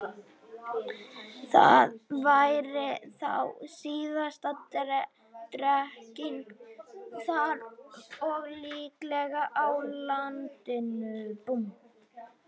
Það væri þá síðasta drekkingin þar og líklega á landinu.